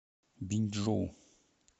биньчжоу